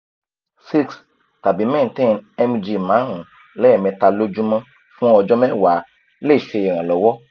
six tabi maintane mg marun lemeta lojumo fun ojo mewa le se iranlowo